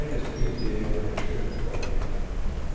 Fremdeles nyter jeg å være ved sjøen og bade hele dagen.